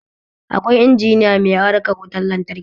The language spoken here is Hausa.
Akwai injiniya mai harkar wutan lantraki